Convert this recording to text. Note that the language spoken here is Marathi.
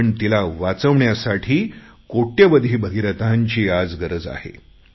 पण तिला वाचवण्यासाठी कोट्यवधी भगीरथांची आज गरज आहे